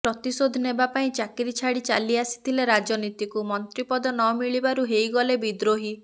ପ୍ରତିଶୋଧ ନେବା ପାଇଁ ଚାକିରି ଛାଡି ଚାଲି ଆସିଥିଲେ ରାଜନୀତିକୁ ମନ୍ତ୍ରୀ ପଦ ନମିଳିବାରୁ ହୋଇଗଲେ ବିଦ୍ରୋହୀ